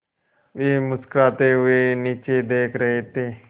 वे मुस्कराते हुए नीचे देख रहे थे